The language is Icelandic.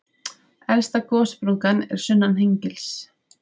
Elsta gossprungan er sunnan Hengils.